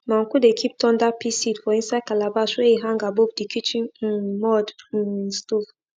my uncle dey keep thunder pea seed for inside calabash wey e hang above di kitchen um mud um stove